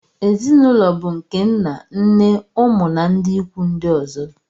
ezi na ụlọ bụ nke nna nne ụmụ na ndị ikwu ndị ọzọ